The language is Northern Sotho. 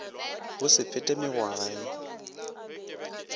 go se fete mengwaga ye